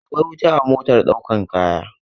Akwai wuta a motar ɗaukan kaya.